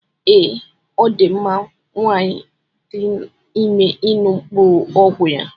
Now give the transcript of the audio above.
Ee, ọ dị mma nwanyị dị ime ịṅụ mkpụrụ ọgwụ ya.